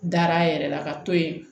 Dar'a yɛrɛ la ka to yen